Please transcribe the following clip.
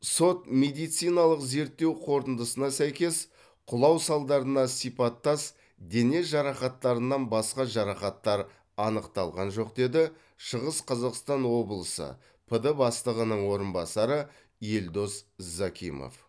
сот медициналық зерттеу қорытындысына сәйкес құлау салдарына сипаттас дене жарақаттарынан басқа жарақаттар анықталған жоқ деді шығыс қазақстан облысы пд бастығының орынбасары елдос закимов